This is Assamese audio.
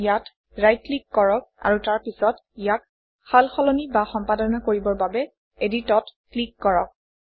ইয়াত ৰাইট ক্লিক কৰক আৰু তাৰ পিছত ইয়াক সালসলনি বা সম্পাদনা কৰিবৰ বাবে Edit অত ক্লিক কৰক